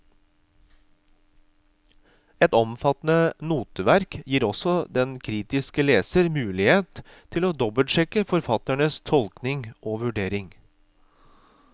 Et omfattende noteverk gir også den kritiske leser mulighet til å dobbeltsjekke forfatternes tolkning og vurdering.